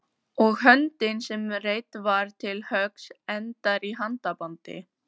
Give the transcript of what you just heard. og höndin sem reidd var til höggs endar í handabandi.